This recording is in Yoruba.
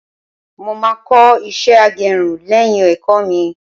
mo ma ko iṣẹ agerun léyìn ẹkọ mi